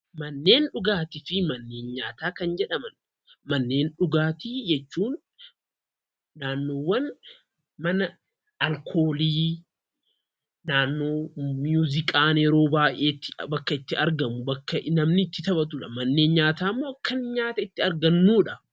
Mannen dhugaattifi mannen nyaataa kan jedhamaan mannen dhugaatti jechuun naannoowwan mana alkoolli, naannoo muuziqaan itti argamuu bakka namni itti taaphatuudha. Mannen nyaataa immoo kan namni nyaataa itti arganuudha.